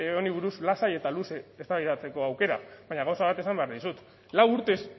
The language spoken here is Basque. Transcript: honi buruz lasai eta luze eztabaidatzeko aukera baina gauza bat esan behar dizut lau urtez